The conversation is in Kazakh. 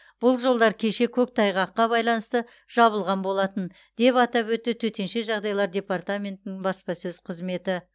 бұл жолдар кеше көктайғаққа байланысты жабылған болатын деп атап өтті төтенше жағдайлар департаментінің баспасөз қызметі